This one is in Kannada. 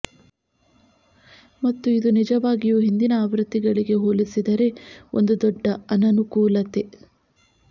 ಮತ್ತು ಇದು ನಿಜವಾಗಿಯೂ ಹಿಂದಿನ ಆವೃತ್ತಿಗಳಿಗೆ ಹೋಲಿಸಿದರೆ ಒಂದು ದೊಡ್ಡ ಅನನುಕೂಲತೆ